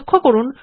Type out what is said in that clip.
লক্ষ্য করুন